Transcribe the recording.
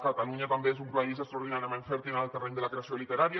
catalunya també és un país extraordinàriament fèrtil en el terreny de la creació literària